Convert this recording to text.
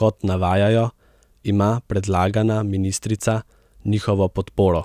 Kot navajajo, ima predlagana ministrica njihovo podporo,